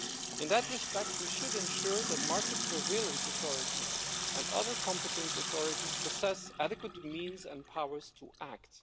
In that respect, we should ensure that market-surveillance authorities and other competent authorities possess adequate means and powers to act.